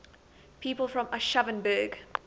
people from aschaffenburg